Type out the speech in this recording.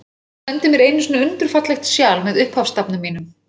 Hann sendi mér einu sinni undur fallegt sjal, með upphafsstafnum mínum.